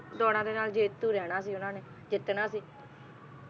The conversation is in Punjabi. ਦੌੜਾਂ ਦੇ ਨਾਲ ਜੇਤੂ ਰਹਿਣਾ ਸੀ ਓਹਨਾ ਨੇ ਜਿੱਤਣਾ ਸੀ